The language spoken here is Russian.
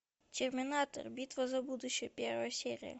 терминатор битва за будущее первая серия